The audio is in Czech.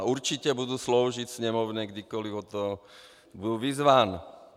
A určitě budu sloužit Sněmovně, kdykoli k tomu budu vyzván.